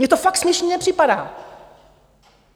Mně to fakt směšné nepřipadá!